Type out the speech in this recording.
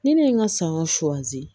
Ni ne ye n ka sanyɔn